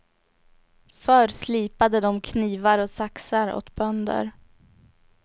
Förr slipade de knivar och saxar åt bönder.